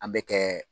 An bɛ kɛ